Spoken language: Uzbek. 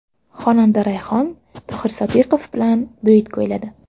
Xonanda Rayhon Tohir Sodiqov bilan duet kuyladi.